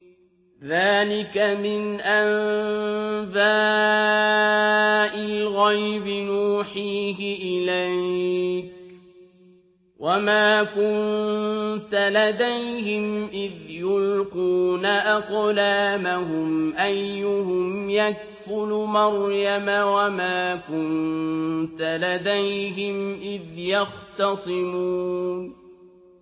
ذَٰلِكَ مِنْ أَنبَاءِ الْغَيْبِ نُوحِيهِ إِلَيْكَ ۚ وَمَا كُنتَ لَدَيْهِمْ إِذْ يُلْقُونَ أَقْلَامَهُمْ أَيُّهُمْ يَكْفُلُ مَرْيَمَ وَمَا كُنتَ لَدَيْهِمْ إِذْ يَخْتَصِمُونَ